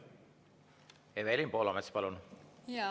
Evelin Poolamets, palun!